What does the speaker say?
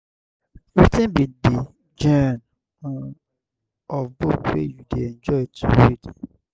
wetin be di genre um of book wey you dey enjoy to read?